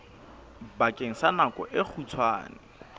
bakeng sa nako e kgutshwane